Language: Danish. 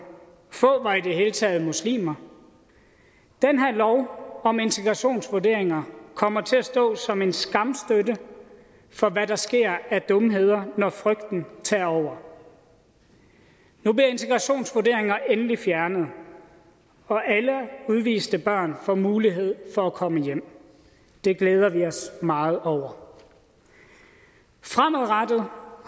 få var i det hele taget muslimer den her lov om integrationsvurderinger kommer til at stå som en skamstøtte for hvad der sker af dumheder når frygten tager over nu bliver integrationsvurderinger endelig fjernet og alle udviste børn får mulighed for at komme hjem det glæder vi os meget over fremadrettet